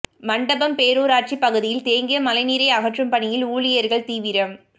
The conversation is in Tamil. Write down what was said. மண்டபம் பேரூராட்சி பகுதியில் தேங்கிய மழைநீரை அகற்றும் பணியில் ஊழியா்கள் தீவிரம்